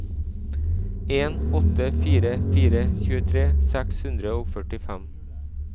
en åtte fire fire tjuetre seks hundre og førtifem